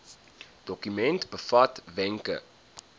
dokument bevat wenke